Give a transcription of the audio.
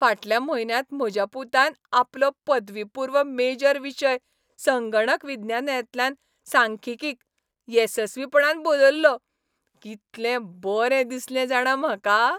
फाटल्या म्हयन्यांत म्हज्या पुतान आपलो पदवीपूर्व मेजर विशय संगणक विज्ञानांतल्यान सांख्यिकींत येसस्वीपणान बदल्लो. कितलें बरें दिसलें जाणां म्हाका?